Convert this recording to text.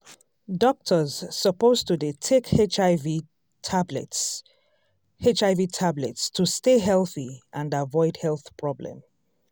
doctors suppose to dey take hiv tablets hiv tablets to stay healthy and avoid health problem